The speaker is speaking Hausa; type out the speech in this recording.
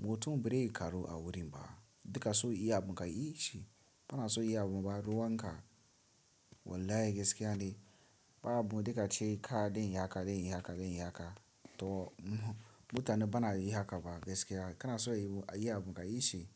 Mutum bare ka ru a wurin ba. Dika so iya mun ka ishi. Bana so iya mun ba ruwan ka. Wallahi gaskiya ne. Ba abu dika ce ka dai yi haka, dai yi haka, dai yi haka. To mutane bana yi haka ba gaskiya. Kana so ayi abu ka yishi.